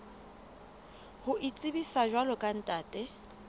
ho itsebisa jwalo ka ntate